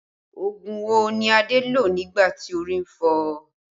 Ogun wo ni Adé lò nígbà tí orí ń fọ́ ọ?